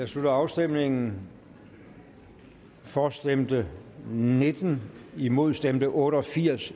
slutter afstemningen for stemte nitten imod stemte otte og firs